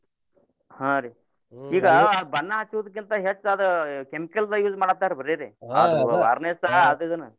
ಹಾ ರೀ ಈಗ ಬನ್ನಾ ಹಚ್ಚುದ್ಕಿಂತಾ ಹೆಚ್ಚ್ ಅದು chemical ದ್ದ್ use ಮಾಡಾತ್ತಾರೀ ಬರೇರೀ varnish ಆದ್ ಇದ್ನ.